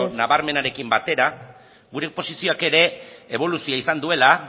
nabarmenarekin batera gure posizioak ere eboluzioa izan duela